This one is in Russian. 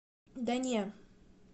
да не